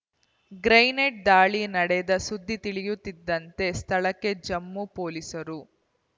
grenade ದಾಳಿ ನಡೆದ ಸುದ್ದಿ ತಿಳಿಯುತ್ತಿದ್ದಂತೆ ಸ್ಥಳಕ್ಕೆ ಜಮ್ಮು ಪೊಲೀಸರು